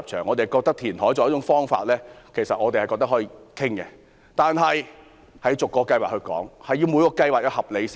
我們認為填海作為一種方法是可以討論的，但前提是要逐個計劃討論，而每個計劃都要合理。